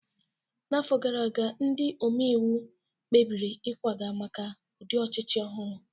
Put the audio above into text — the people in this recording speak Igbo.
N'afọ gara aga, ndị omebe iwu kpebiri ịkwaga maka ụdị ọchịchị ọhụrụ